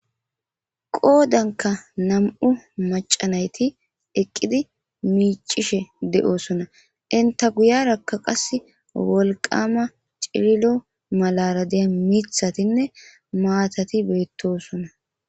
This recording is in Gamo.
qoodanka nam7u macanayti eqqidi miicishe de7osona inta guyarakka qas wolqama ciilo malara deya mithatinne maatati beettosona